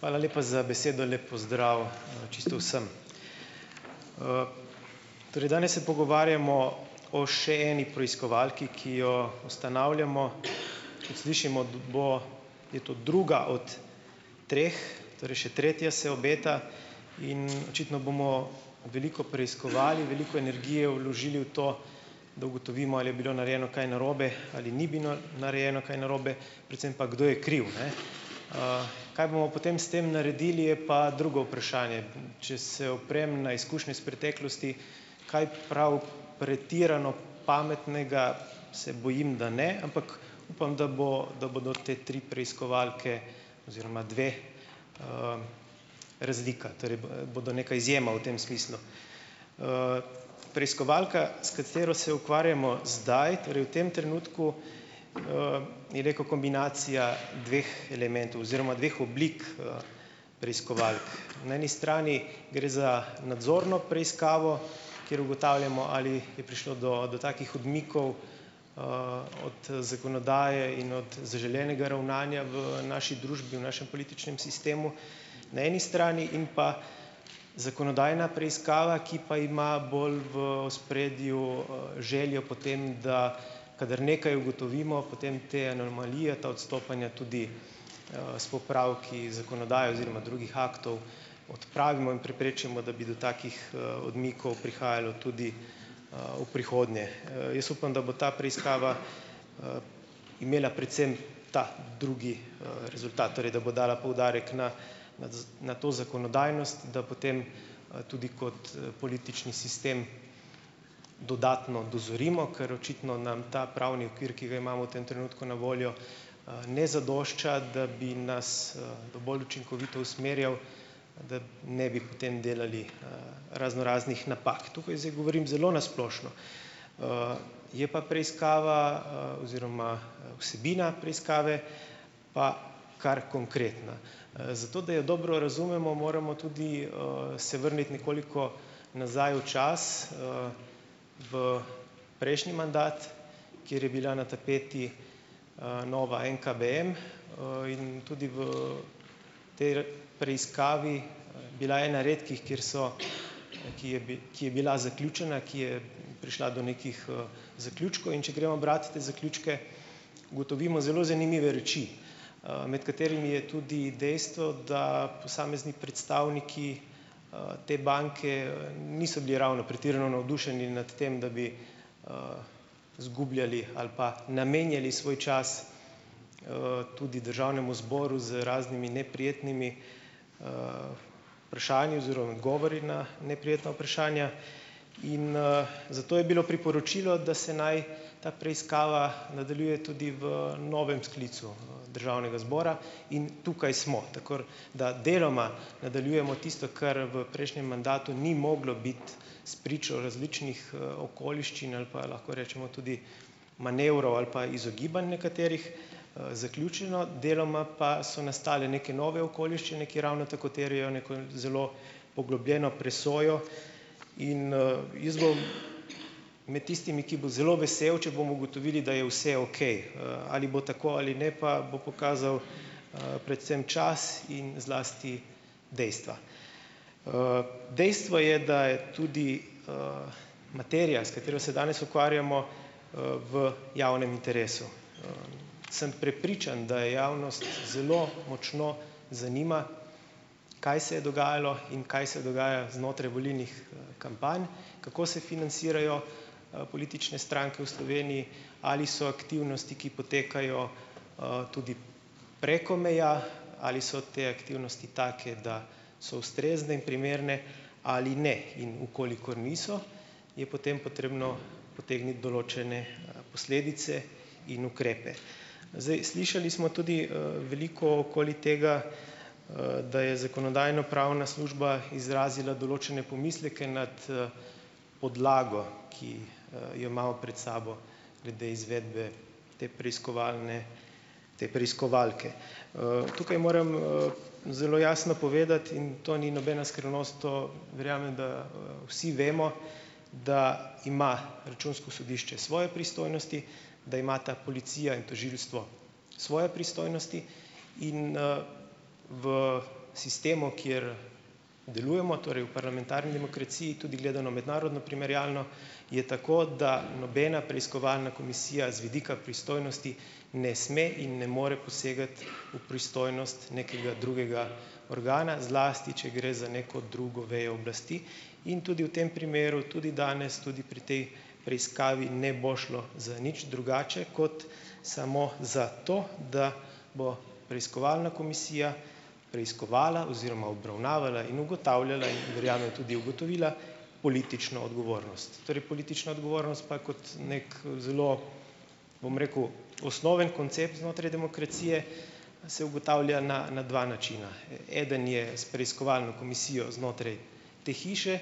Hvala lepa za besedo, lep pozdrav, čisto vsem! Torej danes se pogovarjamo o še eni preiskovalki, ki jo ustanavljamo. Kot slišimo, bo, je to druga od treh, torej še tretja se obeta in očitno bomo veliko preiskovali, veliko energije vložili v to, da ugotovimo, ali je bilo narejeno kaj narobe ali ni bilo narejeno kaj narobe, predvsem pa, kdo je kriv, ne, Kaj bomo potem s tem naredili, je pa drugo vprašanje. Če se oprem na izkušnje iz preteklosti, kaj prav pretirano pametnega se bojim, da ne, ampak upam, da bo, da bodo te tri preiskovalke oziroma dve, razlika, torej bo, bodo neka izjema v tem smislu. Preiskovalka, s katero se ukvarjamo zdaj, torej v tem trenutku, je neka kombinacija dveh elementov oziroma dveh oblik, preiskovalk. Na eni strani gre za nadzorno preiskavo, kjer ugotavljamo, ali je prišlo do, do takih odmikov, od, zakonodaje in od zaželenega ravnanja v naši družbi, v našem političnem sistemu na eni strani in pa zakonodajna preiskava, ki pa ima bolj v ospredju željo po tem, da kadar nekaj ugotovimo, potem te anomalije, ta odstopanja tudi, s popravki, z zakonodajo oziroma drugih aktov odpravimo in preprečimo, da bi do takih, odmikov prihajalo tudi, v prihodnje. jaz upam, da bo ta preiskava, imela predvsem ta drugi, rezultat, torej da bo dala poudarek na na to zakonodajnost, da potem, tudi kot politični sistem dodatno dozorimo, ker očitno nam ta pravni okvir, ki ga imamo v tem trenutku na voljo, ne zadošča, da bi nas, dovolj učinkovito usmerjal, da ne bi potem delali, raznoraznih napak, tukaj zdaj govorim zelo na splošno. Je pa preiskava, oziroma, vsebina preiskave pa kar konkretna. Zato da jo dobro razumemo, moramo tudi, se vrniti nekoliko nazaj v čas, v prejšnji mandat, kjer je bila na tapeti, Nova NKBM, in tudi v potem preiskavi bila ena redkih, kjer so ki je ki je bila zaključena, ki je prišla do nekih, zaključkov. In če gremo brat te zaključke, ugotovimo zelo zanimive reči, med katerimi je tudi dejstvo, da posamezni predstavniki, te banke, niso bili ravno pretirano navdušeni nad tem, da bi, izgubljali ali pa namenjali svoj čas, tudi državnemu zboru z raznimi neprijetnimi, vprašanji oziroma odgovori na neprijetna vprašanja. In, zato je bilo priporočilo, da se naj ta preiskava nadaljuje tudi v novem sklicu državnega zbora. In tukaj smo, tako da deloma nadaljujemo tisto, kar v prejšnjem mandatu ni moglo biti s pričo različnih, okoliščin ali pa, lahko rečemo, tudi manevrov ali pa izogibanj nekaterih, zaključeno, deloma pa so nastale neke nove okoliščine, ki ravno tako terjajo neko zelo poglobljeno presojo. In, jaz bom med tistimi, ki bo zelo vesel, če bomo ugotovili, da je vse okej, ali bo tako ali ne pa bo pokazal, predvsem čas in zlasti dejstva. Dejstvo je, da je tudi, materija, s katero se danes ukvarjamo, v javnem interesu. Sem prepričan, da je javnost zelo močno zanima, kaj se je dogajalo in kaj se dogaja znotraj volilnih, kampanj, kako se financirajo, politične stranke v Sloveniji ali so aktivnosti, ki potekajo, tudi preko meja, ali so te aktivnosti take, da so ustrezne in primerne ali ne, in v kolikor niso, je potem potrebno potegniti določene, posledice in ukrepe. Zdaj slišali smo tudi, veliko okoli tega, da je zakonodajno-pravna služba izrazila določene pomisleke nad, podlago, ki, jo imamo pred sabo glede izvedbe te preiskovalne, te preiskovalke. Tukaj moram, zelo jasno povedati, in to ni nobena skrivnost, to verjamem, da, vsi vemo, da ima računsko sodišče svoje pristojnosti, da imata policija in tožilstvo svoje pristojnosti in, v sistemu, kjer delujemo, torej v parlamentarni demokraciji, tudi gledano mednarodno primerjalno, je tako, da nobena preiskovalna komisija z vidika pristojnosti ne sme in ne more posegati v pristojnost nekega drugega organa, zlasti če gre za neko drugo vejo oblasti, in tudi v tem primeru tudi danes, tudi pri tej preiskavi, ne bo šlo za nič drugače kot samo za to, da bo preiskovalna komisija preiskovala oziroma obravnavala in ugotavljala, in verjamem tudi ugotovila, politično odgovornost. Torej, politična odgovornost pa kot nekaj zelo, bom rekel, osnoven koncept znotraj demokracije, a se ugotavlja na, na dva načina, eden je s preiskovalno komisijo znotraj te hiše,